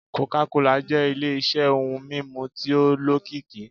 coca cola jẹ́ ile-iṣẹ́ ohun mímu tí ó lókìkí.